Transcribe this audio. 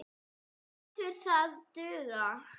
Lætur það duga.